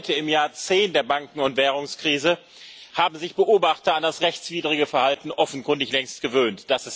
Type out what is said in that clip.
Heute, im Jahr 10 der Banken und Währungskrise, haben sich Beobachter an das rechtswidrige Verhalten offenkundig längst gewöhnt.